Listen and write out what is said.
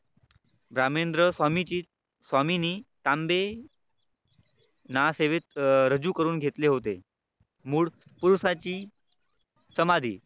रामेंद्र स्वामींची स्वामिनी तांबे ना सेवेत रजू करून घेतले होते. मूळ पुरुषाची समाधी